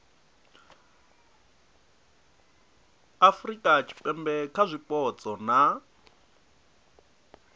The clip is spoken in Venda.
afurika tshipembe kha zwipotso na